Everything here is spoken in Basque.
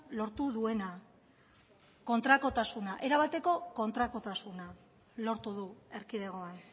lortu duena kontrakotasuna erabateko kontrakotasuna lortu du erkidegoan